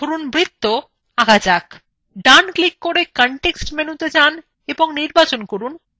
এবার draw পেজa একটি 2d আকৃতি ধরুন একটি বৃত্ত আঁকা যাক